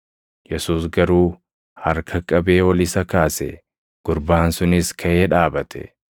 Yesuus garuu harka qabee ol isa kaase; gurbaan sunis kaʼee dhaabate.